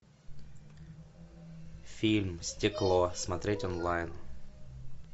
фильм стекло смотреть онлайн